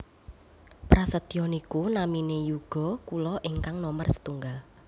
Prasetyo niku namine yuga kula ingkang nomer setunggal